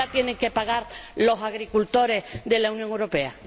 ¿Por qué lo tienen que pagar los agricultores de la Unión Europea?